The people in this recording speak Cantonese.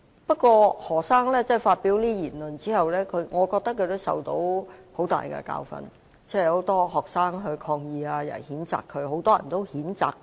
不過，何先生發表這些言論後，我認為他已受到很大教訓，很多學生抗議，也有很多人也譴責他。